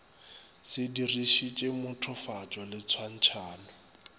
se dirišitše mothofatšo le tshwantšhanyo